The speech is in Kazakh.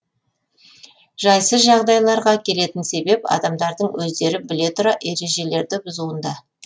жайсыз жағдайларға әкелетін себеп адамдардың өздері біле тұра ережелерді бұзуында